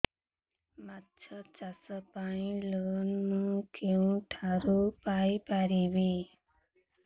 ମାଛ ଚାଷ ପାଇଁ ଲୋନ୍ ମୁଁ କେଉଁଠାରୁ ପାଇପାରିବି